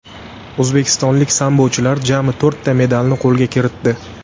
O‘zbekistonlik sambochilar jami to‘rtta medalni qo‘lga kiritdi.